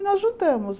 E nós juntamos.